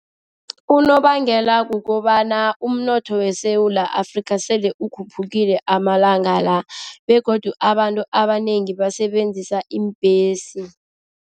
Unobangela kukobana umnotho weSewula Afrika sele ukhuphuke malanga la begodu abantu abanengi basebenzisa iimbhesi.